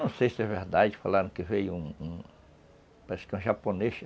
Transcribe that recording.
Não sei se é verdade, falaram que veio um um... parece que um japonês.